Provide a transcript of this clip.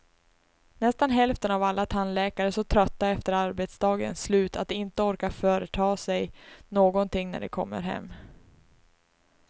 Nästan hälften av alla tandläkare är så trötta efter arbetsdagens slut att de inte orkar företa sig någonting när de kommer hem.